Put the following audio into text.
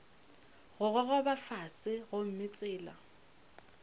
go gogoba fase gomme tsela